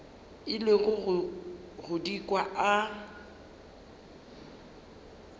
ile go di kwa a